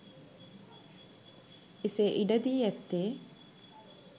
එසේ ඉඩ දී ඇත්තේ